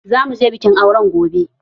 Zamu je bikin aure gobe